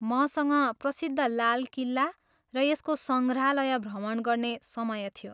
मसँग प्रसिद्ध लाल किल्ला र यसको सङ्ग्रहालय भ्रमण गर्ने समय थियो।